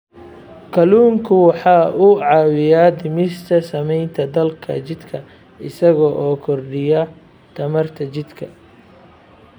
Kalluunku waxa uu caawiyaa dhimista saamaynta daalka jidhka isaga oo kordhiya tamarta jidhka.